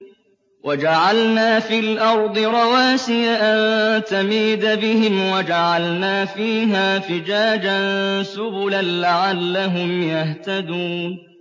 وَجَعَلْنَا فِي الْأَرْضِ رَوَاسِيَ أَن تَمِيدَ بِهِمْ وَجَعَلْنَا فِيهَا فِجَاجًا سُبُلًا لَّعَلَّهُمْ يَهْتَدُونَ